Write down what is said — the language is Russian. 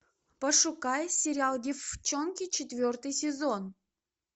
пошукай сериал деффчонки четвертый сезон